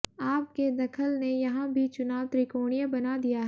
आप के दखल ने यहां भी चुनाव त्रिकोणीय बना दिया है